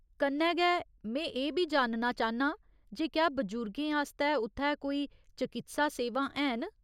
कन्नै गै, में एह् बी जानना चांह्न्नां जे क्या बजुर्गें आस्तै उत्थै कोई चकित्सा सेवां हैन ?